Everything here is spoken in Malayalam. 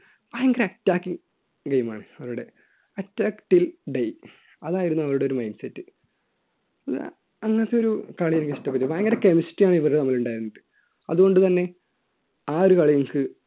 ഭയങ്കര attacking game ആണ് അവരുടെ attack till day അതായിരുന്നു അവരുടെ ഒരു mind set അന്നത്തെ ഒരു കളി എനിക്ക് ഇഷ്ടപ്പെട്ടു ഭയങ്കര chemistry ആണ് ഇവര് തമ്മിൽ ഉണ്ടായിരുന്നത് അതുകൊണ്ടുതന്നെ ആ ഒരു കളി എനിക്ക്